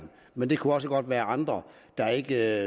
men det kunne også godt være andre der ikke